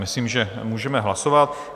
Myslím, že můžeme hlasovat.